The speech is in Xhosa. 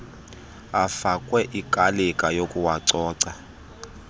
afakwe ikalika yokuwacoca